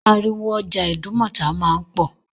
Ariwo ọjà Ìdúmọ̀tà máa ń pò.